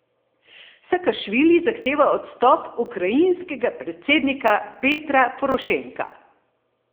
Sakašvili zahteva odstop ukrajinskega predsednika Petra Porošenka.